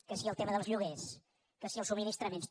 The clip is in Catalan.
que si el tema dels lloguers que si els subministraments